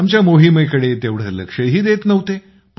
आमच्या मोहिमेकडे तेवढे लक्षही देत नव्हते